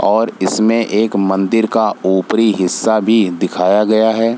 और इसमें मंदिर का एक ऊपरी हिस्सा भी दिखाया गया है।